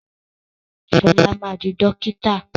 Ṣọlá ma di dókítà!